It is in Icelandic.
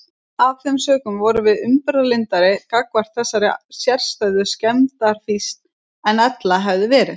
Af þeim sökum vorum við umburðarlyndari gagnvart þessari sérstæðu skemmdarfýsn en ella hefði verið.